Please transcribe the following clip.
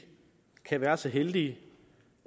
kan være så heldige